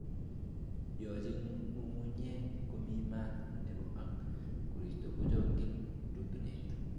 Yoche ngungunyeek komi maat nebo ak korista kochokyin rutunet